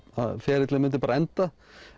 ferillinn myndi kannski bara enda